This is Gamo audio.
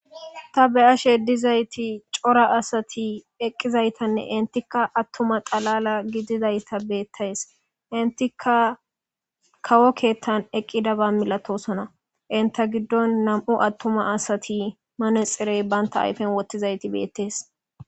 ta be ashe dizayti cora asati eqqizaytanne intikka attuma xalala gidizayta beettays intika kawo keettan eqqidaba milatosona inta giddon nam7u attuma asati manexirey banta ayfen wottizayti beettees